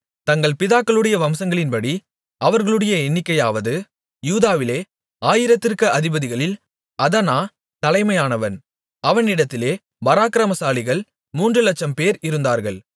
தங்கள் பிதாக்களுடைய வம்சங்களின்படி அவர்களுடைய எண்ணிக்கையாவது யூதாவிலே ஆயிரத்திற்கு அதிபதிகளில் அதனா தலைமையானவன் அவனிடத்திலே பராக்கிரமசாலிகள் மூன்று லட்சம்பேர் இருந்தார்கள்